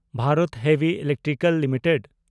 Bharat heavy electrical limited